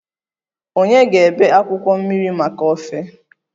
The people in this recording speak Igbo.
Ònye ga-ebe akwụkwọ mmiri maka ofe?